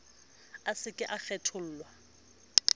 a se ke a kgethollwa